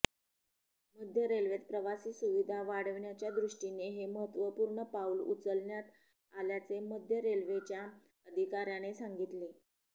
मध्य रेल्वेत प्रवासी सुविधा वाढवण्याच्या दृष्टीने हे महत्त्वपूर्ण पाऊल उचलण्यात आल्याचे मध्य रेल्वेच्या अधिकाऱ्याने सांगितले